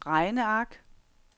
regneark